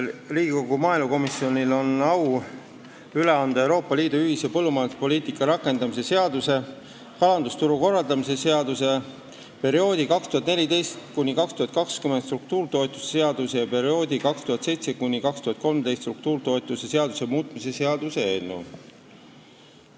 Riigikogu maaelukomisjonil on au üle anda Euroopa Liidu ühise põllumajanduspoliitika rakendamise seaduse, kalandusturu korraldamise seaduse, perioodi 2014–2020 struktuuritoetuse seaduse ja perioodi 2007–2013 struktuuritoetuse seaduse muutmise seaduse eelnõu.